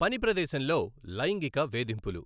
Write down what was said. పని ప్రదేశంలోె లైంగిక వేధింపులు.